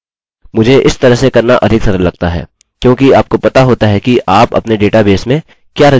मुझे इस तरह से करना अधिक सरल लगता है क्योंकि आपको पता होता है कि आप अपने डेटाबेस में क्या रजिस्टर कर रहे हैं